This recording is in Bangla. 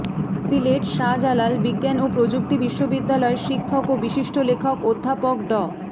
সিলেট শাহজালাল বিজ্ঞান ও প্রযুক্তি বিশ্ববিদ্যালয়ের শিক্ষক ও বিশিষ্ট লেখক অধ্যাপক ড